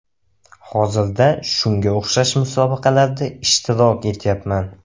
Hozirda shunga o‘xshash musobaqalarda ishtirok etyapman.